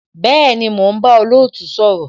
Bẹẹni, mo ń bá olootu sọ̀rọ̀